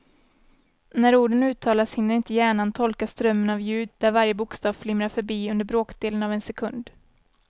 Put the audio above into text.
När orden uttalas hinner inte hjärnan tolka strömmen av ljud där varje bokstav flimrar förbi under bråkdelen av en sekund.